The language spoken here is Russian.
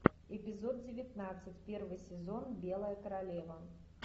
эпизод девятнадцать первый сезон белая королева